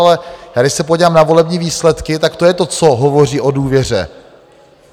Ale když se podívám na volební výsledky, tak to je to, co hovoří o důvěře.